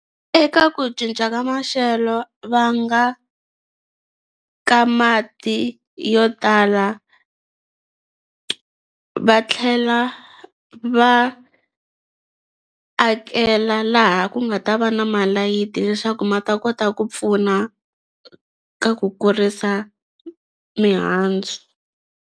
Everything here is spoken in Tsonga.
Eka ku cinca ka maxelo va nga ka mati yo tala va tlhela va akela laha ku nga ta va na malayithi leswaku ma ta kota ku pfuna ka ku kurisa mihandzu.